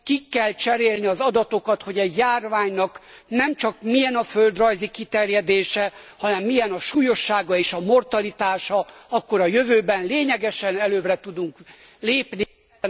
Ki kell cserélni az adatokat, hogy a járványnak nemcsak milyen a földrajzi kiterjedése, hanem milyen a súlyossága és a mortalitása, akkor a jövőben lényegesen előbbre tudunk lépni ezen a téren az